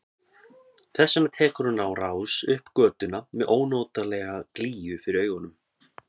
Þess vegna tekur hún á rás upp götuna með ónotalega glýju fyrir augunum.